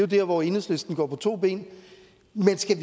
dér hvor enhedslisten går på to ben men skal